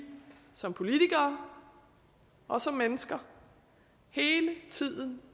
som politikere og som mennesker hele tiden